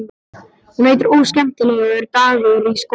Hún heitir Óskemmtilegur dagur í skólanum.